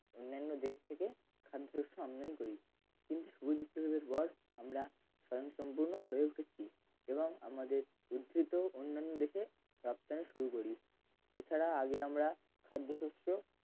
অন্যান্য দেশ থেকে খানিক আসলেও আমরাই করি সুবিধা হিসেবের পর আমরা স্বয়ংসম্পূর্ণ হয়ে উঠেছি এবং আমাদের উধহৃত অন্যান দেশে রপ্তানি শুরু করি এছাড়া আগে আমরা